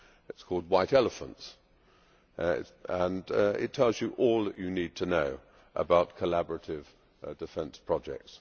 It is called White Elephants' and tells you all you need to know about collaborative defence projects.